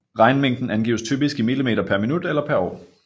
Regnmængden angives typisk i mm per minut eller per år